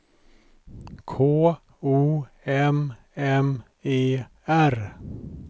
K O M M E R